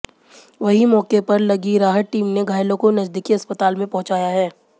वहीं मौके पर लगी राहत टीम ने घायलों को नजदीकी अस्पताल में पहुंचाया है